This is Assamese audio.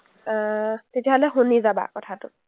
অ, তেতিয়াহ’লে শুনি যাবা কথাটো।